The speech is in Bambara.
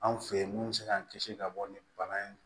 Anw fe ye mun be se k'an kisi ka bɔ ni bana in ye